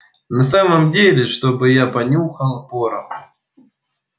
на самом деле чтобы я понюхал пороху